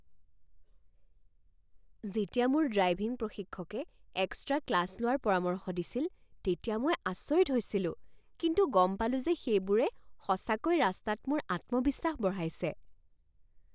যেতিয়া মোৰ ড্ৰাইভিং প্ৰশিক্ষকে এক্সট্ৰা ক্লাছ লোৱাৰ পৰামৰ্শ দিছিল তেতিয়া মই আচৰিত হৈছিলোঁ। কিন্তু গম পালোঁ যে সেইবোৰে সঁচাকৈ ৰাস্তাত মোৰ আত্মবিশ্বাস বঢ়াইছে।